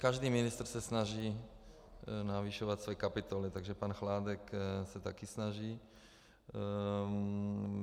Každý ministr se snaží navyšovat svoji kapitolu, takže pan Chládek se také snaží.